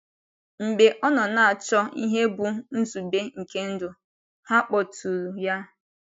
Mgbe ọ nọ na - achọ ihe bụ́ nzube nke ndụ, ha kpọtụụrụ ya.